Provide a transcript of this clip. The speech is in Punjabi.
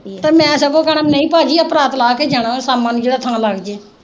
ਤੇ ਮੈਂ ਸਗੋਂ ਕਹਿਣਾ ਨਹੀਂ ਭਾਜੀ ਆਹ ਪਰਾਤ ਲਾ ਕੇ ਜਾਣਾ ਸ਼ਾਮਾਂ ਨੂੰ ਲੱਗ ਜੇ